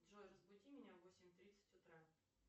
джой разбуди меня в восемь тридцать утра